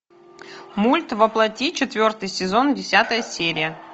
мульт во плоти четвертый сезон десятая серия